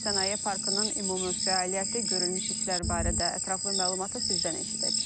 Sənaye parkının ümumi fəaliyyəti, görülmüş işlər barədə ətraflı məlumatı sizdən eşidək.